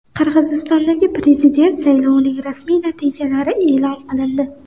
Qirg‘izistondagi prezident saylovining rasmiy natijalari e’lon qilindi.